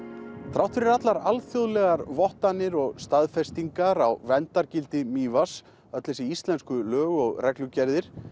þrátt fyrir allar alþjóðlegar vottanir og staðfestingar á verndargildi Mývatns öll þessi lög og reglugerðir